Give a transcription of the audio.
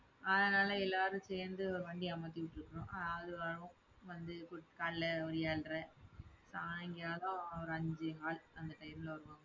அதனால, எல்லாரும் சேர்ந்து ஒரு வண்டியை அமர்த்திட்டு இருக்கோம். அது வரும் வந்து காலையில ஒரு ஏழரை சாயங்காலம் ஒரு அஞ்சே கால் அந்த டயத்துல வருவாங்க.